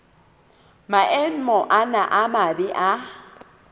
maemo ana a mabe a